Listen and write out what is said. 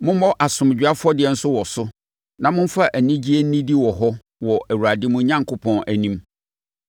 Mommɔ asomdwoeɛ afɔdeɛ nso wɔ so na momfa anigyeɛ nnidi wɔ hɔ wɔ Awurade, mo Onyankopɔn, anim.